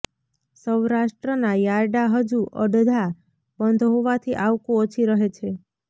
સૌરાષ્ટ્રના યાર્ડા હજુ અડધા બંધ હોવાથી આવકો ઓછી રહે છે